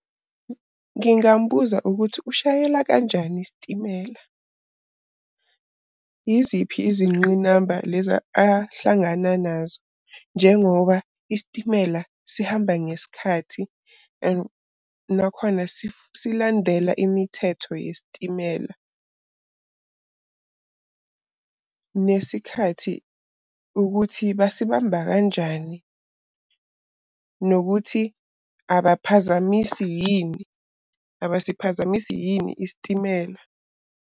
Ngingambuza ukuthi ushayela kanjani isitimela. Iziphi izingqinamba lezi ahlangana nazo njengoba isitimela sihamba ngesikhathi and nakhona silandela imithetho yesitimela . Nesikhathi ukuthi basibamba kanjani nokuthi abaphazamisi yini, abasiphazamisi yini isitimela.